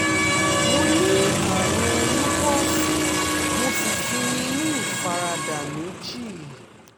mo ní àrùn lupus mo sì ti ní ní ìfaradà méjì